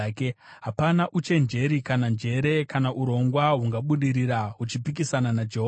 Hapana uchenjeri kana njere kana urongwa hungabudirira huchipikisana naJehovha.